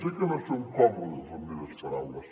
sé que no són còmodes les meves paraules